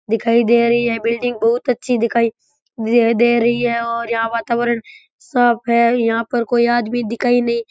building दिखाई दे रही है बिल्डिंग बहुत अच्छी दिखाई दे रही है दे रह है और यहाँ वातावरण साफ है यहाँ कोई आदमी दिखाई नहीं --